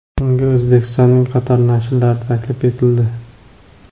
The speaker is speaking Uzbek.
Unga O‘zbekistonning qator nashrlari taklif etildi.